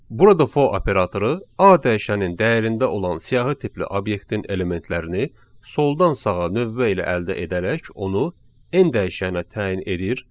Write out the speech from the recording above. Burada for operatoru A dəyişənin dəyərində olan siyahı tipli obyektin elementlərini soldan sağa növbə ilə əldə edərək onu n dəyişəninə təyin edir.